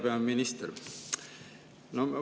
Hea peaminister!